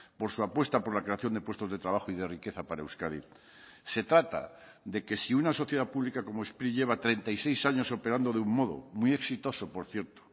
por su apuesta por la creación de puestos de trabajo y de riqueza para euskadi se trata de que si una sociedad pública como spri lleva treinta y seis años operando de un modo muy exitoso por cierto